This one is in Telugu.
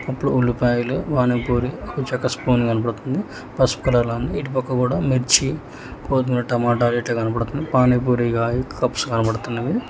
ఇప్పుడు ఉల్లిపాయలు పానీ పూరి ఒక చెక్క స్పూను కనబడుతుంది పసుపు రంగు ఇటు పక్క కూడా మిర్చి కొత్తిమీర టమోటాలు ఇట్ల కనపడుతున్నాయి పానీ పూరి కప్స్ కనబడుతున్నాయి.